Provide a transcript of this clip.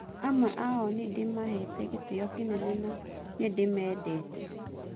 Amwe ao nĩndĩmahete gĩtĩo kĩnene na nĩndĩmendete.